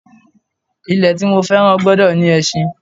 Ilẹ̀ tí mo fẹ́ràn gbọ́dọ̀ ní ẹṣin